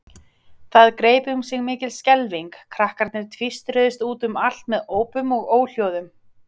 Það greip um sig mikil skelfing, krakkarnir tvístruðust út um allt með ópum og óhljóðum.